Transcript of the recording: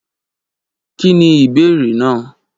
Kí ni ìbéèrè náà?